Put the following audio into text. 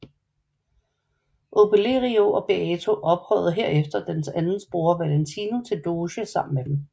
Obelerio og Beato ophøjede herefter deres anden bror Valentino til doge sammen med dem